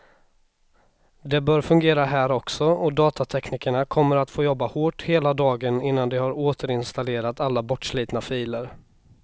Det bör fungera här också, och datateknikerna kommer att få jobba hårt hela dagen innan de har återinstallerat alla bortslitna filer.